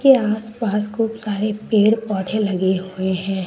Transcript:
ये आस पास खूब सारे पेड़ पौधे लगे हुए हैं।